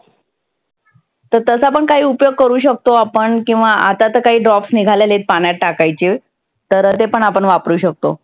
तर तसा पण काही उपयोग करु शकतो आपण किंवा आता तर काही drops निघालेले आहे पाण्याचे. तर ते पण आपण वापरु शकतो.